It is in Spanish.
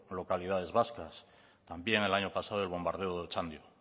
localidades vascas también el año pasado el bombardeo de otxandio